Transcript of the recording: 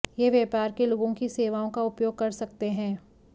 यह व्यापार के लोगों की सेवाओं का उपयोग कर सकते हैं